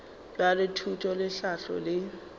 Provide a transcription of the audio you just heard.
bja thuto le tlhahlo le